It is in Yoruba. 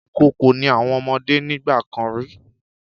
Ìkókó ni àwọn ọmọdé nígbà kan rí.